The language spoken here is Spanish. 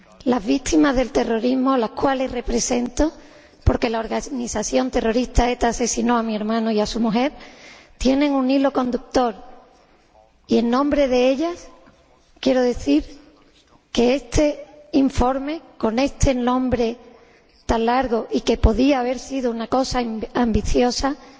Las víctimas del terrorismo, a las que represento porque la organización terrorista ETA asesinó a mi hermano y a su mujer tienen un hilo conductor y, en nombre de ellas, quiero decir que este informe, con este título tan largo, podría haber sido una cosa ambiciosa y